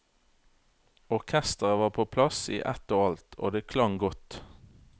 Orkestret var på plass i ett og alt, og det klang godt.